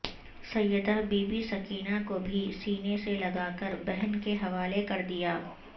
سیدہ Bibi Sakina کو بھی سینے سے لگاکر بہن کے حوالے کردیا